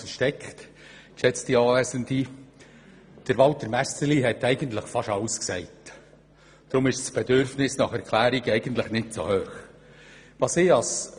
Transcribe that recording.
Walter Messerli hat beinahe alles gesagt, deshalb ist das Bedürfnis nach Erklärungen nun nicht sehr gross.